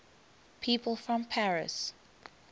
people from paris